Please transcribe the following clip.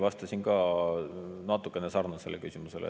Ma eile vastasin ka natukene sarnasele küsimusele.